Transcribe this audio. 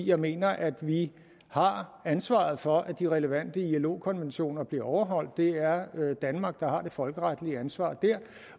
jeg mener at vi har ansvaret for at de relevante ilo konventioner bliver overholdt det er danmark der har det folkeretlige ansvar der